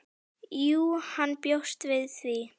Jú, hann bjóst við því.